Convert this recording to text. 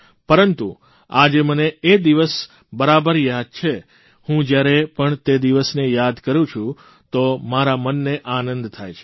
પરંતુ આજે મને એ દિવસ બરાબર યાદ છે હું જયારે પણ તે દિવસને યાદ કરૂં છું તો મારા મનને આનંદ થાય છે